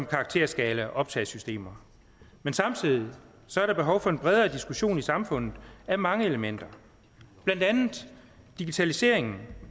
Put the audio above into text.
karakterskala og optagesystemer men samtidig er der behov for en bredere diskussion i samfundet af mange elementer blandt andet digitaliseringen